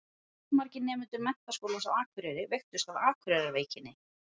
Allmargir nemendur Menntaskólans á Akureyri veiktust af Akureyrarveikinni.